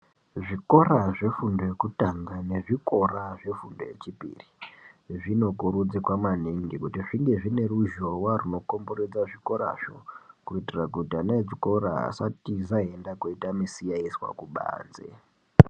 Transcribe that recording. Zvikora zvefundo yokutanga mezvikora zvefundo yechipiri zvinokurudzirwa maningi kuti zvinge zvine ruzhowa unokomberedza zvikorazvo kuitira kuti ana echikora asatiza eienda koita misikanzwa kubanze.